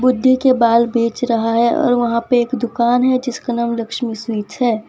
बुड्ढे के बाल बेच रहा है और वहां पे एक दुकान है जिसका नाम लक्ष्मी स्वीट्स है।